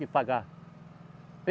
De pagar.